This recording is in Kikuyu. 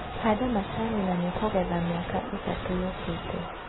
Handa macani na nĩũkagetha mĩaka ĩtatu yũkĩte.